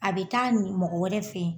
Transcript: A be taa ni mɔgɔ wɛrɛ fe yen.